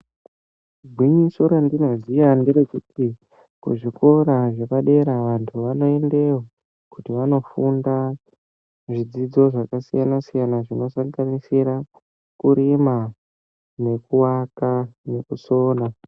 Gwinyiso randinoziva nderekuti kuzvikora zvepadera vantu vanoendeyo kuti vandofunda zvidzidzo zvakasiyana siyana zvinosanganisira kurima , kuaka nekusona.